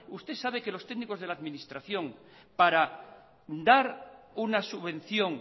usted sabe que los técnicos de la administración para dar una subvención